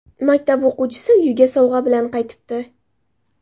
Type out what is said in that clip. Maktab o‘quvchisi uyiga sovg‘a bilan qaytibdi.